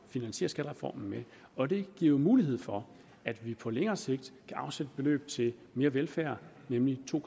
finansiere skattereformen med og det giver jo mulighed for at vi på længere sigt kan afsætte beløb til mere velfærd nemlig to